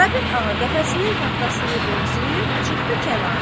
Karapet ağa qəfəsinin taxtasını qovzayıb çıxdı kənara.